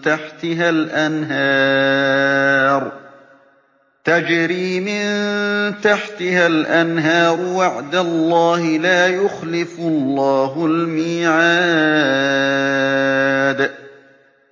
تَحْتِهَا الْأَنْهَارُ ۖ وَعْدَ اللَّهِ ۖ لَا يُخْلِفُ اللَّهُ الْمِيعَادَ